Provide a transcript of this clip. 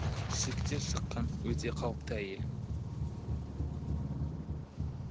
шектен шыққан өте қауіпті әйел